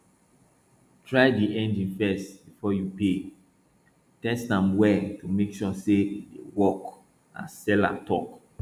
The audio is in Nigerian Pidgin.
try di engine first before you pay test am well to make sure say e dey work as seller talk